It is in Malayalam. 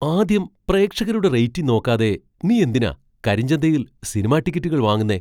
ആദ്യം പ്രേക്ഷകരുടെ റേറ്റിംഗ് നോക്കാതെ നീ എന്തിനാ കരിഞ്ചന്തയിൽ സിനിമാ ടിക്കറ്റുകൾ വാങ്ങുന്നേ ?